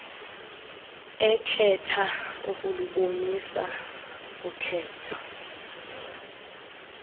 ekhetha ukulubonisa ukhetho